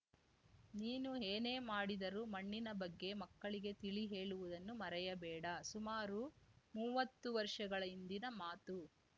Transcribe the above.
ನೀನು ಏನೇ ಮಾಡಿದರೂ ಮಣ್ಣಿನ ಬಗ್ಗೆ ಮಕ್ಕಳಿಗೆ ತಿಳಿಹೇಳುವುದನ್ನು ಮರೆಯಬೇಡ ಸುಮಾರು ಮುವ್ವತ್ತು ವರ್ಷಗಳ ಹಿಂದಿನ ಮಾತು